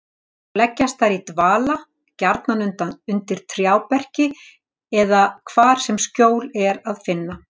Þá leggjast þær í dvala, gjarnan undir trjáberki eða hvar sem skjól er að finna.